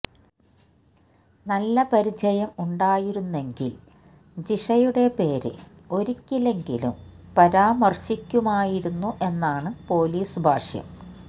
നല്ല പരിചയം ഉണ്ടായിരുന്നെങ്കില് ജിഷയുടെ പേര് ഒരിക്കെങ്കിലും പരാമര്ശിക്കുമായിരുന്നു എന്നാണ് പോലീസ് ഭാഷ്യം